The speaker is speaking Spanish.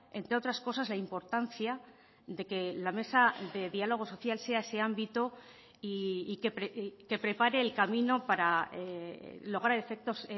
entre otras cosas la importancia de que la mesa de diálogo social sea ese ámbito y que prepare el camino para lograr efectos